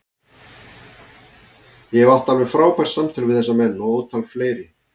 Ég hef átt alveg frábær samtöl við þessa menn og ótal fleiri.